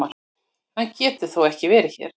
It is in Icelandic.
Hann getur þó ekki verið hér!